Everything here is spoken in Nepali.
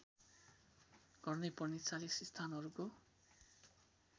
गर्नैपर्ने ४० स्थानहरूको